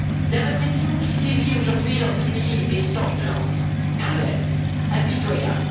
La répression qui sévit aujourd'hui dans ce pays est sanglante, cruelle, impitoyable